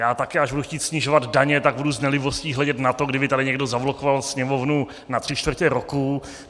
Já také, až budu chtít snižovat daně, tak budu s nelibostí hledět na to, kdyby tady někdo zablokoval Sněmovnu na tři čtvrtě roku.